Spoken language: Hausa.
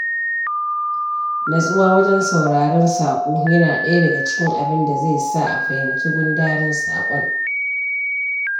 Nutsuwa wajen sauraron saƙo yana ɗaya daga cikin abin da zai sa a fahimci gundarin saƙon.